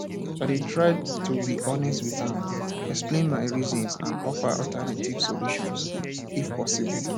i dey try to be honest with am explain my reasons and offer alternative solutions if possible